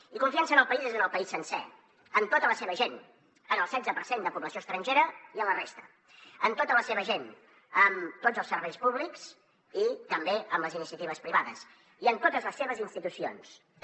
i confiança en el país és en el país sencer en tota la seva gent en el setze per cent de població estrangera i en la resta en tots els serveis públics i també en les iniciatives privades i en totes les seves institucions també